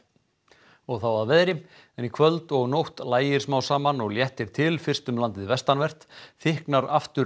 og þá að veðri en í kvöld og nótt lægir smá saman og léttir til fyrst um landið vestanvert þykknar aftur